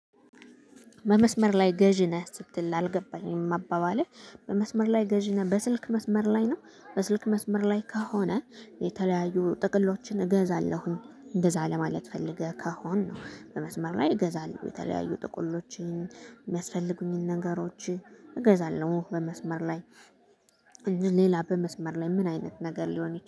"በመስመር ላይ ገዢ ነህ" ስትል አልገባኝም አባባልህ። "በመስመር ላይ ገዢ ነህ?" በስልክ መስመር ላይ ነው? በስልክ መስመር ላይ ከሆነ የተለያዩ ጥቅሎችን እገዛለሁኝ፤ እንደዛ ለማለት ፈልገህ ከሆነ፣ በመስመር ላይ እገዛለሁ፤ የተለያዩ ጥቅሎችን፣ የሚያስፈልጉኝን ነገሮች እገዛለሁ በመስመር ላይ። እንጂ ሌላ በመስመር ላይ ምን አይነት ነገር ሊሆን